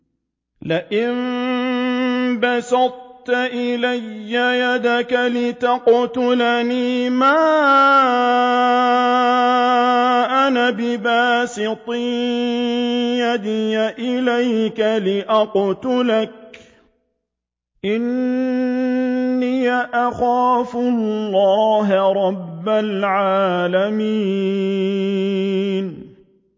لَئِن بَسَطتَ إِلَيَّ يَدَكَ لِتَقْتُلَنِي مَا أَنَا بِبَاسِطٍ يَدِيَ إِلَيْكَ لِأَقْتُلَكَ ۖ إِنِّي أَخَافُ اللَّهَ رَبَّ الْعَالَمِينَ